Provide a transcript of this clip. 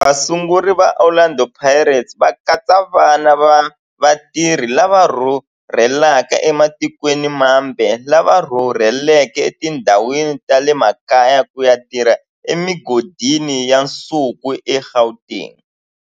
Vasunguri va Orlando Pirates va katsa vana va vatirhi lava rhurhelaka ematikweni mambe lava rhurheleke etindhawini ta le makaya ku ya tirha emigodini ya nsuku eGauteng.